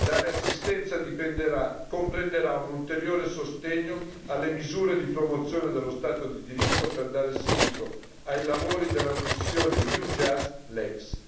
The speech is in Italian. Tale assistenza comprenderà un ulteriore sostegno alle misure di promozione dello Stato di diritto per dare seguito ai lavori della missione EUJUST LEX.